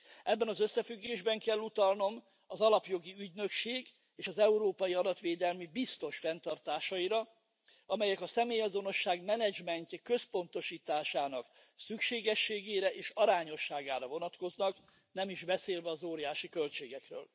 Ebben az összefüggésben kell utalnom az Alapjogi Ügynökség és az Európai adatvédelmi biztos fenntartásaira, amelyek a személyazonosság menedzsmentje központosításának szükségességére és az arányosságra vonatkoznak, nem is beszélve az óriási költségekről.